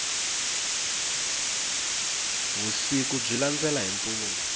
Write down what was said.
vusiku byi landela hi mpundzu